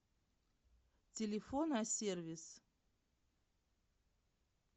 телефон а сервис